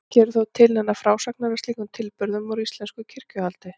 Ekki eru þó til neinar frásagnir af slíkum tilburðum úr íslensku kirkjuhaldi.